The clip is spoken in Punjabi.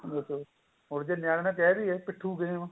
ਬਿਲਕੁਲ ਹੁਣ ਜੇ ਨਿਆਣਿਆ ਨੂੰ ਕਹਿ ਦੇਈਏ ਪਿਠੁ game